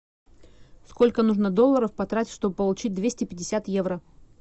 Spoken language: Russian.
сколько нужно долларов потратить чтобы получить двести пятьдесят евро